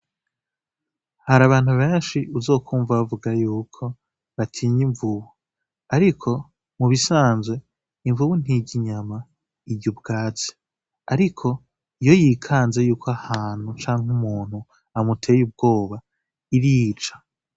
Hari abantu benshi uzokwumva bavuga yuko batinya imvubu ariko mu bisanzwe imvubu ntirya inyama irya ubwatsi ariko iyo yikanze yuko ahantu canke umuntu amuteye ubwoba irica